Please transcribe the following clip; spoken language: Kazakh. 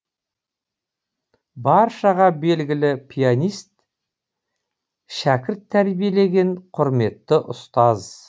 баршаға белгілі пианист шәкірт тәрбиелеген құрметті ұстаз